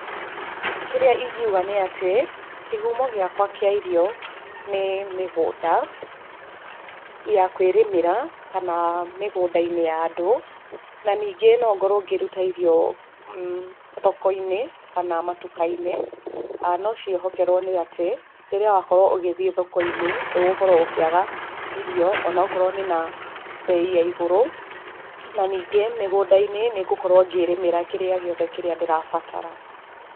Kĩrĩa ingiuga nĩ atĩ, kĩhumo gĩakwa kĩa irio, nĩ mĩgũnda, ya kwĩrĩmĩra, kana mĩgũnda-inĩ ya andũ. Na ningĩ no ngorwo ngĩruta irio, thoko-inĩ, kana matuka-inĩ, no ciĩhokerwo nĩ atĩ rĩrĩa ũrakorwo ũgĩthiĩ thoko-inĩ, ndũgũkorwo ũkĩaga irio onokorwo nĩ na, mbei ya igũrũ, na ningĩ mĩgũnda-inĩ nĩ ngũkorwo ngĩĩrĩmĩra kĩrĩa gĩothe ndĩrabatara.